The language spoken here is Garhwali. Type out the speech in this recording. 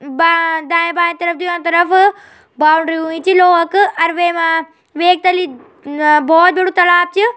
बां दायें-बाएं तरफ दुयां तरफ बाउंड्री हुईं छी लोहा क अर वैमा वेक तल्ली अ बहौत बडू तालाब च यो।